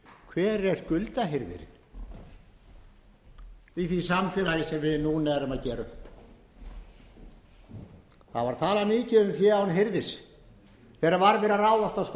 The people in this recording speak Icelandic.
hver er skuldahirðirinn í því samfélagi sem við núna erum að gera upp það var talað mikið um fé án hirðis þegar var verið að